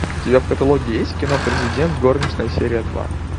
у тебя в каталоге есть кино предидент горничная серия два